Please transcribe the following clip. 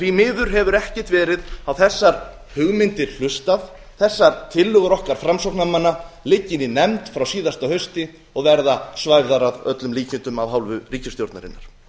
því miður hefur ekkert verið á þessar hugmyndir hlustað þessar tillögur okkar framsóknarmanna liggja inni í nefnd frá síðasta hausti og verða svæfðar að öllum líkindum af hálfu ríkisstjórnarinnar